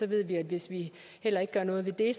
ved vi at hvis vi heller ikke gør noget ved det